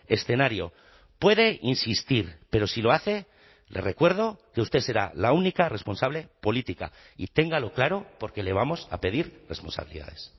escenario puede insistir pero si lo hace le recuerdo que usted será la única responsable política y téngalo claro porque le vamos a pedir responsabilidades